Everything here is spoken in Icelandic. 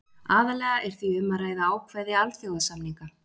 aðallega er því um að ræða ákvæði alþjóðasamninga